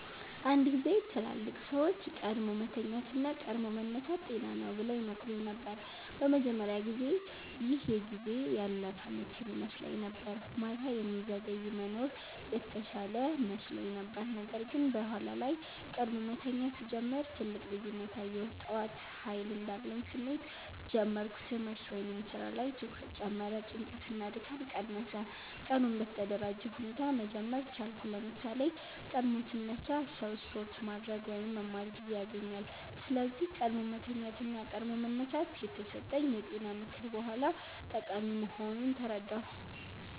አንድ ጊዜ ትላልቅ ሰዎች “ቀድሞ መተኛት እና ቀድሞ መነሳት ጤና ነው” ብለው ይመክሩኝ ነበር። በመጀመሪያ ጊዜ ይህ የጊዜ ያለፈ ምክር ይመስለኝ ነበር፤ ማታ የሚዘገይ መኖር የተሻለ መስሎኝ ነበር። ነገር ግን በኋላ ላይ ቀድሞ መተኛት ሲጀምር ትልቅ ልዩነት አየሁ። ጠዋት ኃይል እንዳለኝ ስሜት ጀመርሁ ትምህርት/ስራ ላይ ትኩረት ጨመረ ጭንቀት እና ድካም ቀነሰ ቀኑን በተደራጀ ሁኔታ መጀመር ቻልኩ ለምሳሌ፣ ቀድሞ ሲነሳ ሰው ስፖርት ማድረግ ወይም መማር ጊዜ ያገኛል። ስለዚህ “ቀድሞ መተኛት እና ቀድሞ መነሳት” የተሰጠኝ የጤና ምክር በኋላ ጠቃሚ መሆኑን ተረዳሁ።